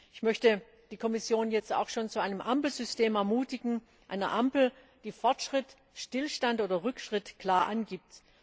Ich möchte die Kommission jetzt auch schon zu einem Ampelsystem ermutigen, einer Ampel, die Fortschritt, Stillstand oder Rückschritt klar angibt.